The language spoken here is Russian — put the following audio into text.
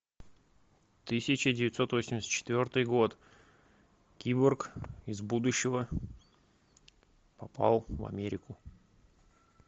тысяча девятьсот восемьдесят четвертый год киборг из будущего попал в америку